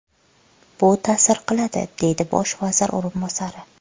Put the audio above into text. Bu ta’sir qiladi”, deydi bosh vazir o‘rinbosari.